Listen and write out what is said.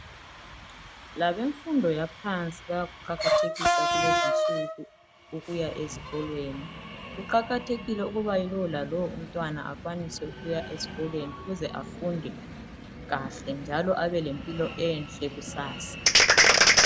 Labemfundo yaphansi bayakuqakathekisa kulezinsuku ukuya ezikolweni, kuqakathekile ukuba lowo lalowo umntwana akwanise ukuya esikolweni, ukuze afunde kahle njalo abelempilo enhle kusasa.